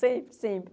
Sempre, sempre.